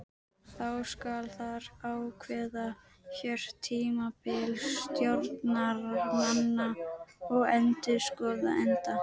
Þá skal þar ákveða kjörtímabil stjórnarmanna og endurskoðenda.